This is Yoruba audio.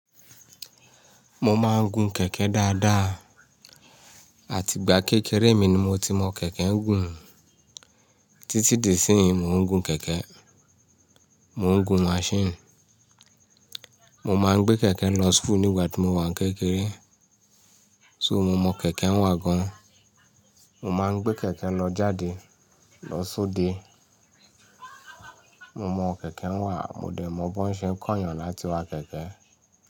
Mo máa ń gun kẹ̀kẹ́ dáadáa àti ìgbà kékeré mi ni mo ti mọ kẹ̀kẹ́ n gùn. Títí di sínyíi mo ń gun kẹ̀kẹ́, mo ń gun machine. Mo máa ń gbé kẹ̀kẹ́ lọ school nígbà tí mo wà kékeré. So mo mọ kẹ̀kẹ́ ń wà gan. Mo máa ń gbé kẹ̀kẹ́ lọ jáde, lọ sóde. Mo mọ kẹ̀kẹ́ ń wà, mo dẹ̀ mọ bi won ṣe ń kó ènìyàn láti wá kẹ̀kẹ́